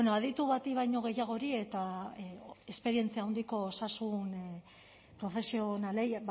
aditu bati baino gehiagori eta esperientzia handiko osasun profesionalei